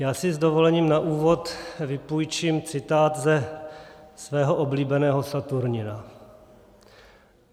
Já si s dovolením na úvod vypůjčím citát ze svého oblíbeného Saturnina.